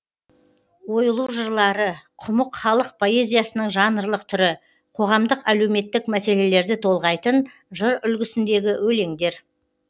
ойлу жырлары құмық халық поэзиясының жанрлық түрі қоғамдық әлеуметтік мәселелерді толғайтын жыр үлгісіндегі өлеңдер